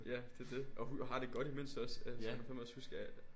Ja det det og har det godt imens også altså jeg kan fandme også huske at